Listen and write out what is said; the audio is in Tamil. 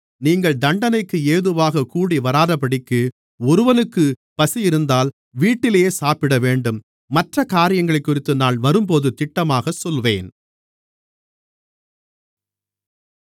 நீங்கள் தண்டனைக்கு ஏதுவாகக் கூடிவராதபடிக்கு ஒருவனுக்குப் பசியிருந்தால் வீட்டிலே சாப்பிடவேண்டும் மற்றக்காரியங்களை நான் வரும்போது திட்டமாக சொல்லுவேன்